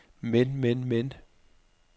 men men men